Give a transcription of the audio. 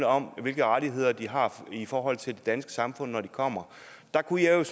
om hvilke rettigheder de har i forhold til det danske samfund når de kommer der kunne jeg